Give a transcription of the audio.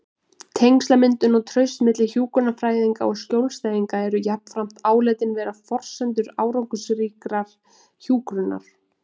Tengslamyndun og traust milli hjúkrunarfræðinga og skjólstæðinga eru jafnframt álitin vera forsendur árangursríkrar hjúkrunar.